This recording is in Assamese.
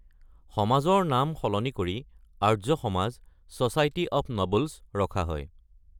সমাজৰ নাম সলনি কৰি Arya Samaj (society of nobles) ৰখা হয়।